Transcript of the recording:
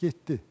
Getdi.